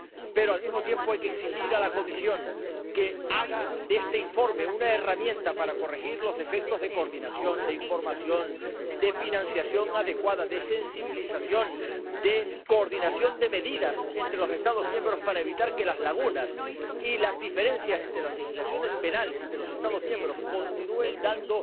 Pero, al mismo tiempo, hay que exigir a la Comisión que haga de este informe una herramienta para corregir los defectos de coordinación, de información, de financiación adecuada, de sensibilización, de coordinación de medidas entre los Estados miembros para evitar que las lagunas y las diferencias entre las legislaciones penales de los Estados miembros continúen dando